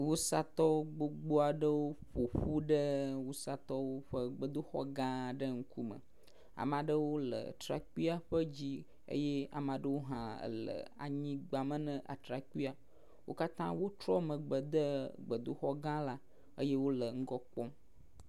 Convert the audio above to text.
Wusatɔwo gbogbo aɖewo ƒoƒu ɖe wusatɔwo ƒe gbedoxɔ gã ae ƒe ŋkume. Ame aɖewo le trakpui ƒe dzi eye ame aɖewo hã le anyigba me na atrakpuia. Wo katrã wotrɔ megbe de gbedoxɔ gã la eye wo le ŋgɔ kpɔm.